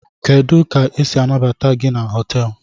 Kedu ka esi anabata GI na hotelu?